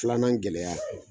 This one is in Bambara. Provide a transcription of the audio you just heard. Filanan gɛlɛya